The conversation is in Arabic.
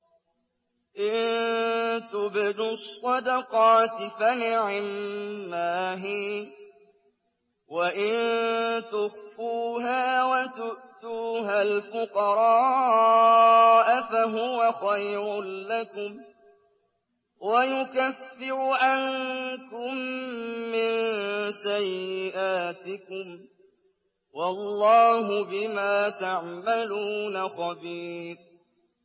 إِن تُبْدُوا الصَّدَقَاتِ فَنِعِمَّا هِيَ ۖ وَإِن تُخْفُوهَا وَتُؤْتُوهَا الْفُقَرَاءَ فَهُوَ خَيْرٌ لَّكُمْ ۚ وَيُكَفِّرُ عَنكُم مِّن سَيِّئَاتِكُمْ ۗ وَاللَّهُ بِمَا تَعْمَلُونَ خَبِيرٌ